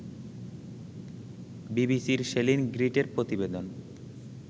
বিবিসির সেলিন গ্রিটের প্রতিবেদন